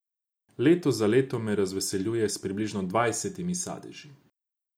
Leto za letom me razveseljuje s približno dvajsetimi sadeži.